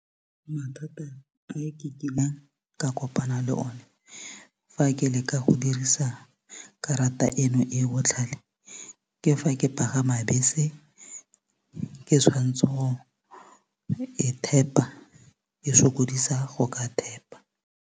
Mathata a ke kileng ka kopana le one fa ke leka go dirisa karata eno e botlhale ke fa ke pagama bese ke tshwanetse go e tap-a e sokodisa go ka tap-a.